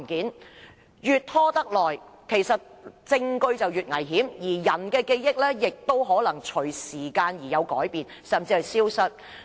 時間越拖得久，證據便越危險，而人的記憶，亦會隨時間而改變，甚至消失。